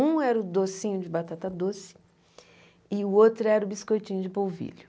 Um era o docinho de batata doce e o outro era o biscoitinho de polvilho.